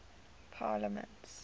parliaments